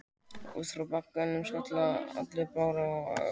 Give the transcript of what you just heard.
Út frá bakuggunum skaga langir broddar og áberandi dökkur blettur er á hvorri hlið.